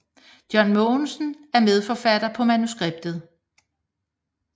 John Mogensen er medforfatter på manuskriptet